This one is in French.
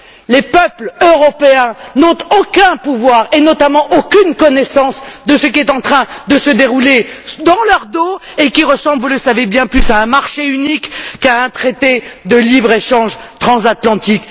Les peuples européens n'ont aucun pouvoir et notamment aucune connaissance de ce qui est en train de se dérouler dans leur dos et qui ressemble, vous le savez bien plus, à un marché unique qu'à un traité de libre échange transatlantique.